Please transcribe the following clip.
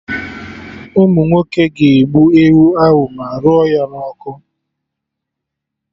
Ụmụnwoke ga-egbu ewu ahụ ma rụọ ya na ọkụ